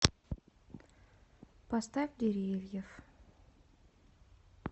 поставь деревьев